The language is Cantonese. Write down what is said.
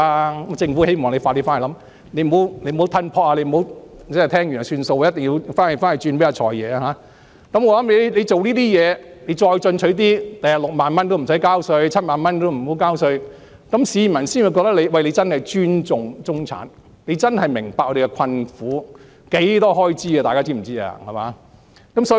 如果政府願意這樣做，日後再進取一點，月薪6萬元也無需交稅，然後再調高至月薪7萬元，這樣市民便會覺得你真的尊重中產，真的明白我們的困苦，大家知道中產的開支有多大嗎？